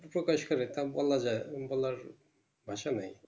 প্রকাশ করে তা বলাযায় বলার ভাষা নাই